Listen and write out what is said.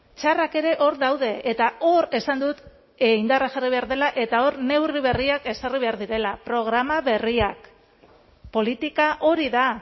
txarrak ere hor daude eta hor esan dut indarra jarri behar dela eta hor neurri berriak ezarri behar direla programa berriak politika hori da